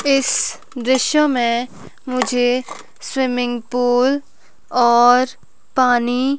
इस दृश्य में मुझे स्विमिंग पूल और पानी--